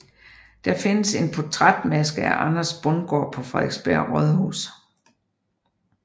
Der findes en portrætmaske af Anders Bundgaard på Frederiksberg Rådhus